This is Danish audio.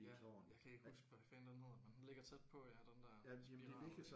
Ja jeg kan ikke huske hvad fanden den hedder men den ligger tæt på ja den der spiral